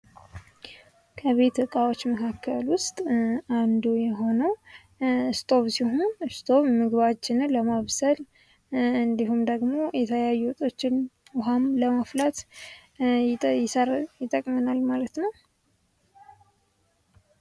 ከቤት እቃዎች መካከል ዉስጥ አንዱ የሆነዉ ስቶቭ ሲሆን ስቶቭ ምግባችንን ለማብሰል እንዲሁም የተለያዩ ዉኃም ለማፍላት ይጠቅማል ማለት ነዉ።